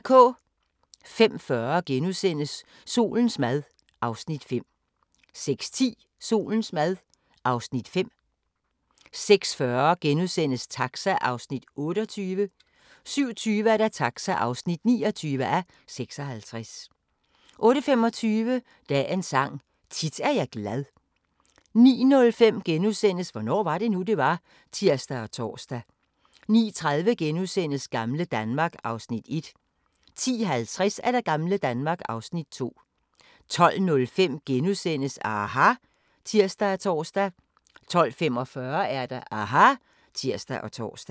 05:40: Solens mad (Afs. 4)* 06:10: Solens mad (Afs. 5) 06:40: Taxa (28:56)* 07:20: Taxa (29:56) 08:25: Dagens Sang: Tit er jeg glad 09:05: Hvornår var det nu, det var? *(tir og tor) 09:30: Gamle Danmark (Afs. 1)* 10:50: Gamle Danmark (Afs. 2) 12:05: aHA! *(tir og tor) 12:45: aHA! (tir og tor)